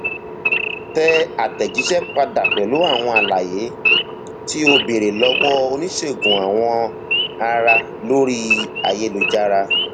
tẹ àtẹjíṣẹ padà pẹlú àwọn àlàyé tí o béèrè lọwọ oníṣègùn awọ ara lórí ayélujára